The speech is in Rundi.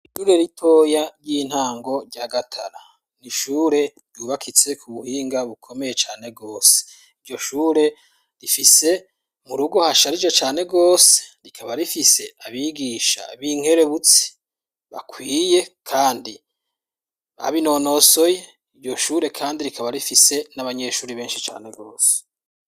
Ishure ritoya ry'intango rya Gatara. N'ishure ryubakitse ku buhinga bukomeye cane rwose. Iryo shure rifise mu rugo hasharije cane rwose, rikaba rifise abigisha b'inkerebutsi bakwiye kandi babinonosoye. Iryo shure kandi rikaba rifise n'abanyeshuri benshi cane rwose.